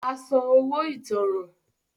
Á san “ owó ìtanràn ”.